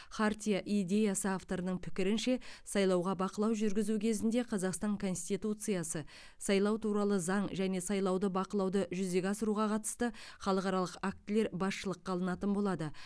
хартия идеясы авторының пікірінше сайлауға бақылау жүргізу кезінде қазақстан конституциясы сайлау туралы заң және сайлауда бақылауды жүзеге асыруға қатысты халықаралық актілер басшылыққа алынатын болады